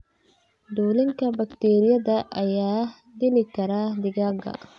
Dulinka bakteeriyada ayaa dili kara digaagga.